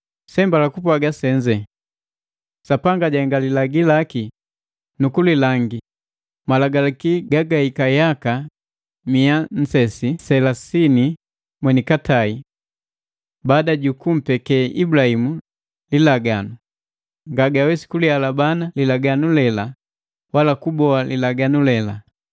Seembala kupwaaga senze; Sapanga jahenga lilagi laki, nukulilangi, malagalaki gagahika yaka mia nne selasini mwenikatai baada jukumpeke Ibulabimu lilaganu, nga gawesi kulihalabana lilaganu lela, wala kuboa lilaganu lela.